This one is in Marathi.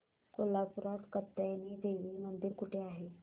कोल्हापूरात कात्यायनी देवी मंदिर कुठे आहे